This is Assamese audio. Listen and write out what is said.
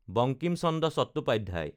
বাংকিম চন্দ্ৰ চট্টোপাধ্যায়